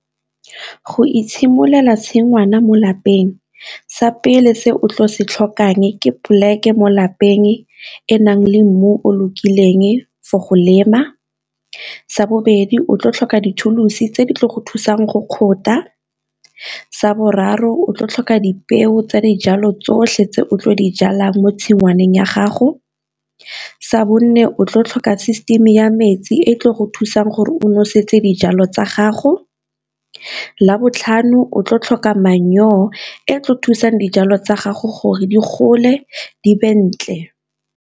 Go itshimololela tshingwana mo lapeng sa pele se o tlo se tlhokang ke poleke mo lapeng enang le mmu o lokileng for go lema, sa bobedi o tlo tlhoka di-tools-i tse di tlo go thusang go kgotha, sa boraro o tlo tlhoka dipeo tsa dijalo tsotlhe tse o tlo di jalang mo tshingwaneng ya gago, sa bone o tlo tlhoka system ya metsi e tlile go thusa jang gore o nosetse dijalo tsa gago, labotlhano o tlo tlhoka manure e tlo thusang dijalo tsa gago gore di gole di .